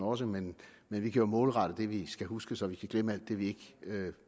også men vi kan jo målrette det vi skal huske så vi kan glemme alt det vi ikke